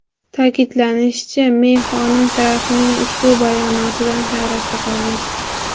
Ta’kidlanishicha, Mey xonim Trampning ushbu bayonotidan hayratda qolgan.